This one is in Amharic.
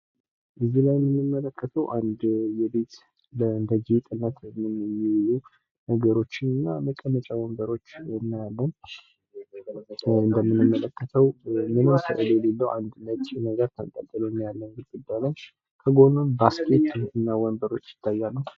እዚህ ላይ የምንመለከተው አንድ የቤት እንደ ጌጥነት የሚዉሉ ነገሮችን እና መቀመጫ ወንበሮች እናያለን ፤ እንደምንመለከተው ምንም ስእል የሌለው አንድ ነጭ ነገር ተንጠልጥሎ እናያለን ግድግዳዉ ላይ ከጎኑም ባስኬት እና ወንበሮች ይታያሉ።